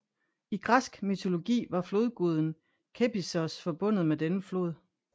I græsk mytologi var flodguden Kephissos forbundet med denne flod